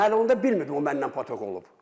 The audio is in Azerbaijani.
Mən onda bilmirdim o məndən patok olub.